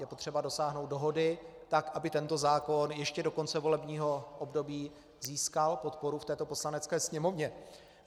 Je potřeba dosáhnout dohody, tak aby tento zákon ještě do konce volebního období získal podporu v této Poslanecké sněmovně.